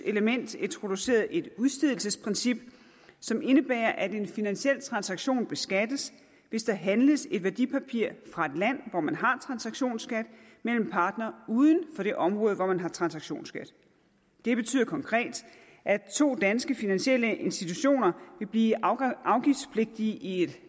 element introduceret et udstedelsesprincip som indebærer at en finansiel transaktion beskattes hvis der handles et værdipapir fra et land hvor man har en transaktionsskat mellem parter uden for det område hvor man har en transaktionsskat det betyder konkret at to danske finansielle institutioner vil blive afgiftspligtige i et